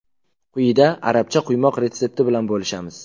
Quyida arabcha quymoq retsepti bilan bo‘lishamiz.